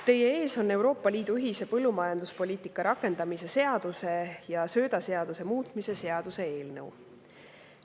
Teie ees on Euroopa Liidu ühise põllumajanduspoliitika rakendamise seaduse ja söödaseaduse muutmise seaduse eelnõu.